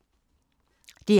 DR1